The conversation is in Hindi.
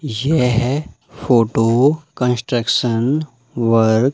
यह है फोटो कंस्ट्रक्शन वर्क --